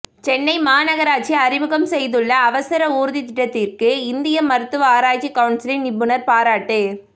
சென்னை மாநகராட்சி அறிமுகம் செய்துள்ள அவசர ஊர்தி திட்டத்திற்கு இந்திய மருத்துவ ஆராய்ச்சி கவுன்சில் நிபுணர் பாராட்டு